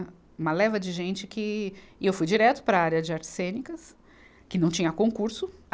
Uma leva de gente que, e eu fui direto para a área de artes cênicas, que não tinha concurso.